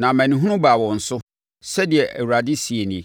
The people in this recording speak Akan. na amanehunu baa wɔn so,” sɛdeɛ Awurade, seɛ nie.